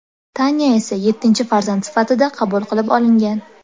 Tanya esa yettinchi farzand sifatida qabul qilib olingan.